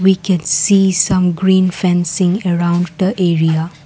We can see some green fencing around the area.